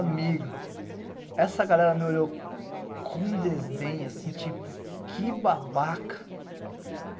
Amigo, essa galera me olhou com desdém, assim, tipo, que babaca.